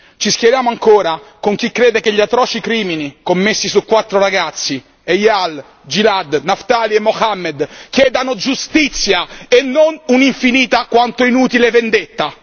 Ci schieriamo ancora con chi crede che gli atroci crimini commessi su quattro ragazzi Eyal, Gilad, Naftali e Mohammed chiedano giustizia e non un'infinita quanto inutile vendetta.